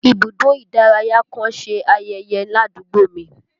Ibùdó ìdárayá kan ń ṣe ayẹyẹ ládùúgbò mi